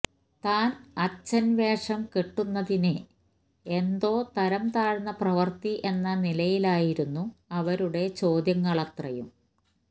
താന് അച്ഛന് വേഷം കെട്ടുന്നതിനെ എന്തോ തരംതാഴ്ന്ന പ്രവര്ത്തി എന്ന നിലയിലായിരുന്നു അവരുടെ ചോദ്യങ്ങളത്രയും